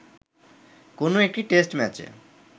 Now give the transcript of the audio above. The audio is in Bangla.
কোন একটি টেস্ট ম্যাচে